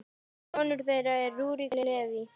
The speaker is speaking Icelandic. Sonur þeirra er Rúrik Leví.